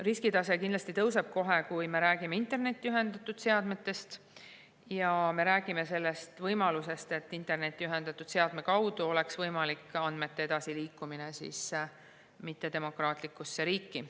Riskitase kindlasti tõuseb kohe, kui me räägime internetti ühendatud seadmetest ja sellisest võimalusest, et internetti ühendatud seadme kaudu saavad andmed edasi liikuda ebademokraatlikku riiki.